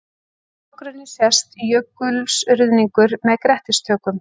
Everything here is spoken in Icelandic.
Í forgrunni sést jökulruðningur með grettistökum.